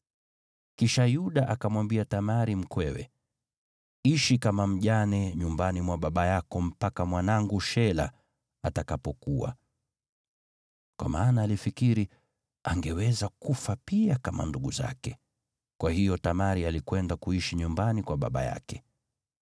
Kisha Yuda akamwambia Tamari mkwewe, “Ishi kama mjane nyumbani mwa baba yako mpaka mwanangu Shela atakapokua.” Kwa maana alifikiri, “Angeweza kufa pia kama ndugu zake.” Kwa hiyo Tamari alikwenda kuishi nyumbani kwa baba yake.